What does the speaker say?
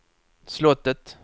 slottet